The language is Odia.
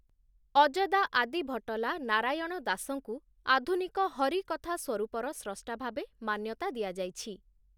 ଅଜଦା ଆଦିଭଟଲା ନାରାୟଣ ଦାସଙ୍କୁ ଆଧୁନିକ ହରିକଥା ସ୍ଵରୂପର ସ୍ରଷ୍ଟା ଭାବେ ମାନ୍ୟତା ଦିଆଯାଇଛି ।